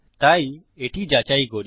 তাই এটি যাচাই করি